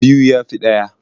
Biyu ya fi ɗaya.